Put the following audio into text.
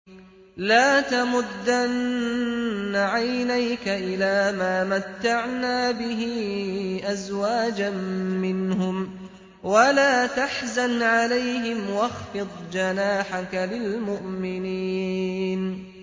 لَا تَمُدَّنَّ عَيْنَيْكَ إِلَىٰ مَا مَتَّعْنَا بِهِ أَزْوَاجًا مِّنْهُمْ وَلَا تَحْزَنْ عَلَيْهِمْ وَاخْفِضْ جَنَاحَكَ لِلْمُؤْمِنِينَ